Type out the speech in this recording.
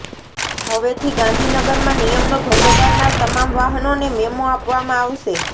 હવેથી ગાંધીનગરમાં નિયમનો ભંગ કરનાર તમામ વાહનોને મેમો આપવામાં આવશે